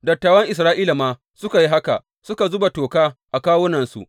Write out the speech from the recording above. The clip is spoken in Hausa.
Dattawan Isra’ila ma suka yi haka, suka zuba toka a kawunansu.